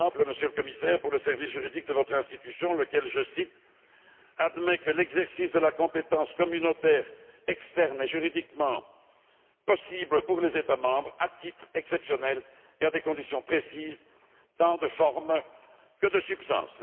Par exemple, Monsieur le Commissaire, pour le service juridique de votre institution, lequel, je cite admet que l'exercice de la compétence communautaire externe est juridiquement possible pour les États membres, à titre exceptionnel et à des conditions précises, tant de forme que de substance.